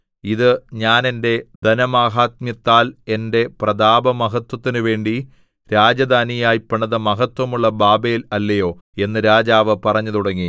ഇത് ഞാൻ എന്റെ ധനമാഹാത്മ്യത്താൽ എന്റെ പ്രതാപമഹത്വത്തിനുവേണ്ടി രാജധാനിയായി പണിത മഹത്വമുള്ള ബാബേൽ അല്ലയോ എന്ന് രാജാവ് പറഞ്ഞുതുടങ്ങി